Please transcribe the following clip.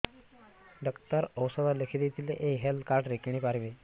doctor ଔଷଧ ଲେଖିଦେଇଥିଲେ ଏଇ ହେଲ୍ଥ କାର୍ଡ ରେ କିଣିପାରିବି